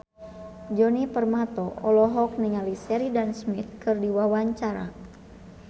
Djoni Permato olohok ningali Sheridan Smith keur diwawancara